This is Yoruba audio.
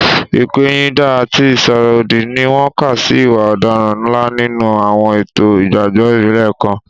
Ìpẹ̀yìndà àti ìsọ̀rọ̀ òdì ni wọ́n kà sí ìwà ọ̀daràn ńlá nínú àwọn ètò ìgbàgbọ́ ìbílẹ̀ kan.